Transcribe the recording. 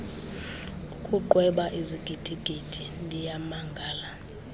ukuqweba izigidigidi ndiyamangala